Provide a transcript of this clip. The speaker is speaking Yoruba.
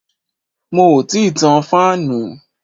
Mo ti tan fáànù.